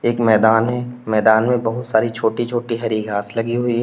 एक मैदान है मैदान में बहुत सारी छोटी छोटी हरी घास लगी हुई है।